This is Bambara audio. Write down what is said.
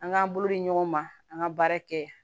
An k'an bolo di ɲɔgɔn ma an ka baara kɛ